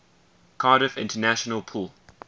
cardiff international pool